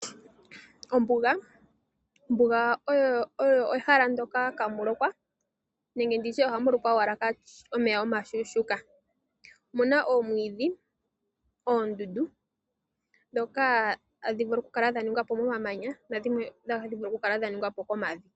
Ombuga oyo ehala ndoka ihaamu lokwa nenge ndi tye ohamu lokwa owala omeya omushuushuka. Omuna oomwiidhi, oondundu ndhoka hadhi vulu okukala dha ningwa po komamanya nadhimwe otadhi vulu okukala dha ningwa po komavi.